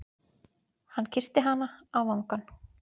Hann kyssti hana á vangann.